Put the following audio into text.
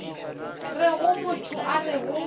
rego motho a re go